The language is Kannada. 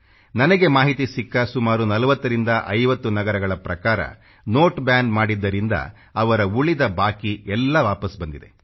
ನನಗೆ ಮಾಹಿತಿ ಸಿಕ್ಕ ಸುಮಾರು 40 50 ನಗರಗಳ ಪ್ರಕಾರ ನೋಟ್ ಬ್ಯಾನ್ ಮಾಡಿದ್ದರಿಂದ ಅವರ ಉಳಿದ ಬಾಕಿ ಎಲ್ಲ ವಾಪಸ್ ಬಂದಿದೆ